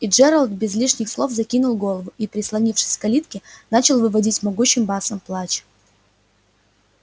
и джералд без лишних слов закинул голову и прислонившись к калитке начал выводить могучим басом плач